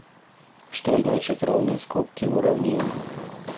что значит ровные скобки в уравнении